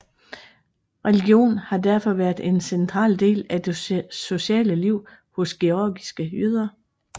Religion har derfor været en central del af det sociale liv hos georgiske jøder